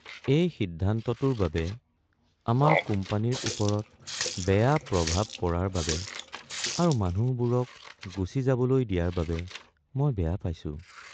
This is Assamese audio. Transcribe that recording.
এই সিদ্ধান্তটোৰ বাবে আমাৰ কোম্পানীৰ ওপৰত বেয়া প্ৰভাৱ পৰাৰ বাবে আৰু মানুহবোৰক গুচি যাবলৈ দিয়াৰ বাবে মই বেয়া পাইছোঁ।